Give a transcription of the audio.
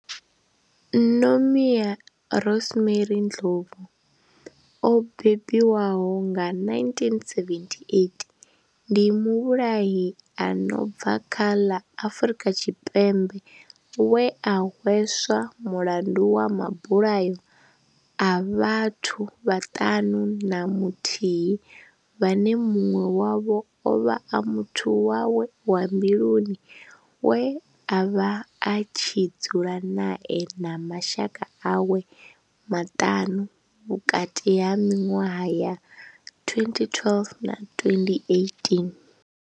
Nomia Rosemary Ndlovu o bebiwaho nga, 1978, ndi muvhulahi a no bva kha ḽa Afrika Tshipembe we a hweswa mulandu wa mabulayo a vhathu vhaṱanu na muthihi vhane muṅwe wavho ovha a muthu wawe wa mbiluni we avha a tshi dzula nae na mashaka awe maṱanu, vhukati ha minwaha ya 2012 na 2018.